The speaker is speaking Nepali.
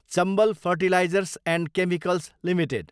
Chambal fertilisers and chemicals limited